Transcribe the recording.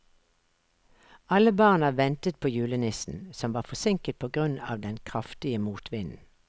Alle barna ventet på julenissen, som var forsinket på grunn av den kraftige motvinden.